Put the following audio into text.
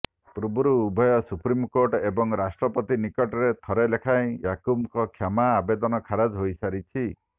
ପୂର୍ବରୁ ଉଭୟ ସୁପ୍ରିମକୋର୍ଟ ଏବଂ ରାଷ୍ଟ୍ରପତିଙ୍କ ନିକଟରେ ଥରେ ଲେଖାଏଁ ୟାକୁବର କ୍ଷମା ଆବେଦନ ଖାରଜ ହୋଇ ସାରିଛି